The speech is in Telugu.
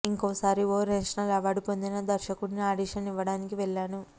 ఇంకోసారి ఓ నేషనల్ అవార్డు పొందిన దర్శకుడుకి ఆడిషన్ ఇవ్వడానికి వెళ్లాను